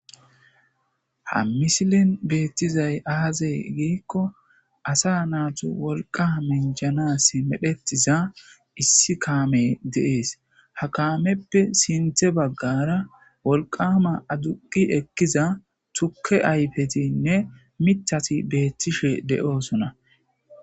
Ha misilen betizay aze gikon asa natu wolqa minjanas medhetiza issi kamey de'esi , ha kameppe sinthe bagara wolqama aduqi ekiza tuke ayfetinne mithati betishe de'osona.